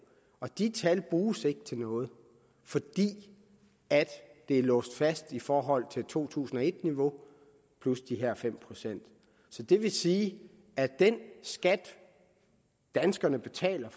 og de tal bruges ikke til noget fordi det er låst fast i forhold til to tusind og et niveau plus de her fem procent så det vil sige at den skat danskerne betaler